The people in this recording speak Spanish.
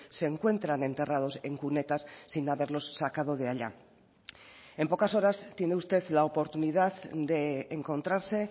se encuentran enterrados en cunetas sin haberlos sacado de allá en pocas horas tiene usted la oportunidad de encontrarse